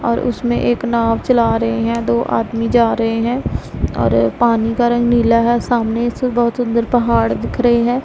और उसमें एक नाव चला रहे हैं दो आदमी जा रहे हैं और पानी का रंग नीला है सामने से बहुत सुंदर पहाड़ दिख रहे है।